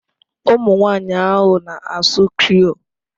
Ụmụ nwanyị ahụ na-asụ Creole